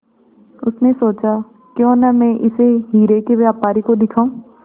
उसने सोचा क्यों न मैं इसे हीरे के व्यापारी को दिखाऊं